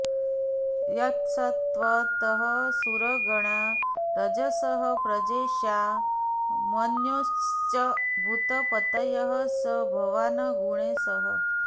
यत्सत्त्वतः सुरगणा रजसः प्रजेशा मन्योश्च भूतपतयः स भवान् गुणेशः